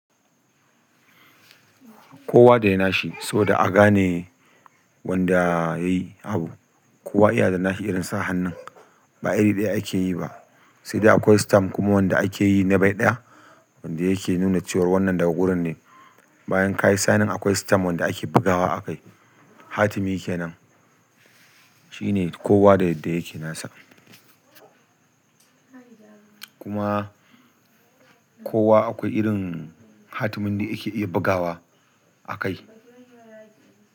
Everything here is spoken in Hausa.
Kowa da yana shi saboda a gane wanda yayi abu. Kowa yana da nashi irin sa hannun, ba iri ɗaya ake yi ba. Sai dai akwai stamp kuma wanda ake yi ne by ɗaya, wanda yake nuna cewa wannan daga wurin ne. Bayan ka yi signing akwai stamf wanda ake bugawa a kai, hatimi kenan. Shi ne kowa da yadda yake nasa. Kuma kowa akwai irin hatimin da yake iya bugawa a kai.